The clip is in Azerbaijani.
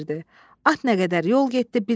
At nə qədər yol getdi bilmədi.